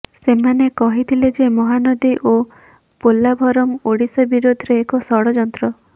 ସେମାନେ କହିଥିଲେ ଯେ ମହାନଦୀ ଓ ପୋଲାଭରମ୍ ଓଡ଼ିଶା ବିରୋଧରେ ଏକ ଷଡ଼ଯନ୍ତ୍ର